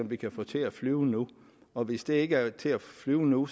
vi kan få til at flyve nu og hvis den ikke er at til at flyve nu